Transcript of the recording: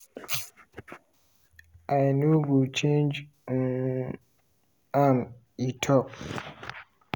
"i no go change um am" e tok.